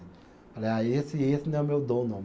Falei, ah, esse esse não é o meu dom, não.